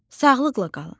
Sağlıqla qalın.